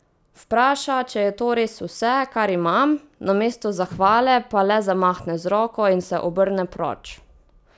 Vpraša, če je to res vse, kar imam, namesto zahvale pa le zamahne z roko in se obrne proč.